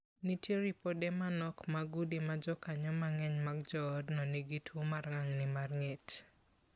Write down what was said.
Nitie ripode manok mag udi ma jokanyo mang'eny mag joodno ma nigi tuo mar ng'ang'ni mar ng'et.